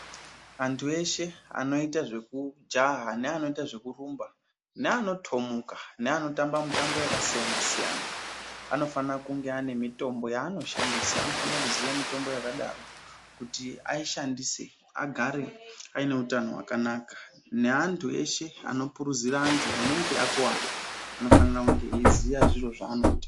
Antu eshe anoita zvekujaha neanoita zvekurumba neanotomuka neanotamba mitambo yakasiyana-siyana anofana kunge ane mitombo yainoshandisa, anofana kuziya mitombo yakadaro kuti aishandise agare ane utano hwakanaka neantu eshe anopuruzira antu anenge akuwara anofanira kunge eiziya zvanoita.